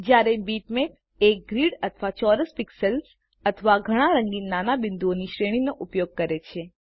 જયારે બીટમેપ એક ગ્રિડ અથવા ચોરસમાં પિક્સેલ્સ અથવા ઘણા રંગીન નાના બિંદુઓની શ્રેણીનો ઉપયોગ કરે છે